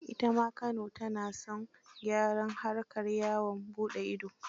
Ita ma Kano ta na son gyara harkar yawaan buɗe ido.